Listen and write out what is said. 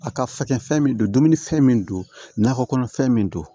A ka fɛkɛfɛn min don dumuni fɛn min don nakɔ kɔnɔfɛn min don